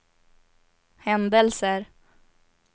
händelser